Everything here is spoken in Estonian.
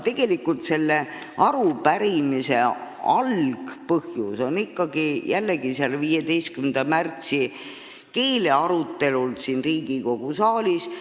Aga selle arupärimise algpõhjus on jällegi 15. märtsi keelearutelu siin Riigikogu saalis.